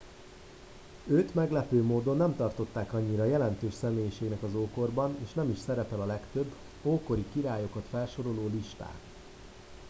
őt meglepő módon nem tartották annyira jelentős személyiségnek az ókorban és nem is szerepel a legtöbb ókori királyokat felsoroló listán